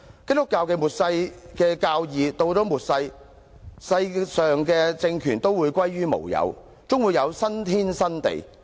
基督教有末世的教義，到了末世，世界上的政權都會歸於無有，終會有新天新地。